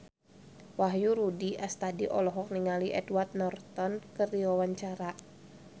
Wahyu Rudi Astadi olohok ningali Edward Norton keur diwawancara